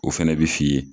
O fɛnɛ bɛ f'i ye